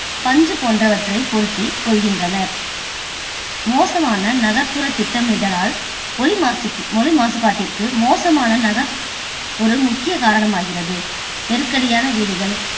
பஞ்சு போன்றவற்றை பொருத்திக் கொள்கின்றனர். மோசமான நகர்ப்புற திட்டமிடலால், ஒலி மாசுக்கு~ஒலி மாசுபாட்டிற்கு மோசமான நகர் ஒரு முக்கிய காரணமாகிறது. நெருக்கடியான வீடுகள்,